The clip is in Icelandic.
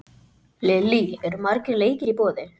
Lillý, eru margir leikir í boði?